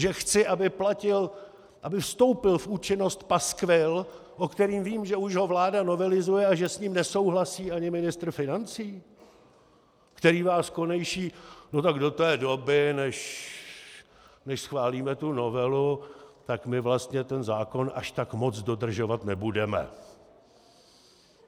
Že chci, aby vstoupil v účinnost paskvil, o kterém vím, že už ho vláda novelizuje a že s ním nesouhlasí ani ministr financí, který vás konejší - no tak do té doby, než schválíme tu novelu, tak my vlastně ten zákon až tak moc dodržovat nebudeme.